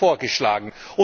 Das wird vorgeschlagen.